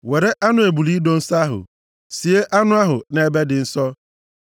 “Were anụ ebule ido nsọ ahụ, sienụ anụ ahụ nʼebe dị nsọ.